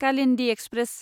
Kalindi express